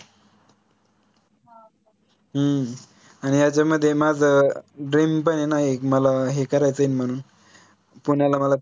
हम्म आणि यांच्यामध्ये माझं dream पण आहे ना एक मला हे करायचंय म्हनून पुण्याला मला